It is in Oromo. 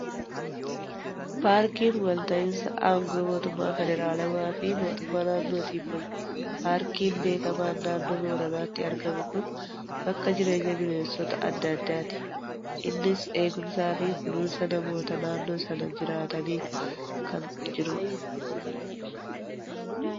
Paarkiin wal ta'iinsa aangoo mootummaa Federaalaa fi mootummaa naannootiin bula. Paarkiin beekamaa Naannoo Booranaatti argamu kun bakka jireenya bineensota adda addaati. Innis eegumsaa fi kunuunsa namoota naannoo sana jiraataniin kan jirudha.